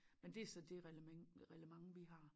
Men det så det reglement reglement vi har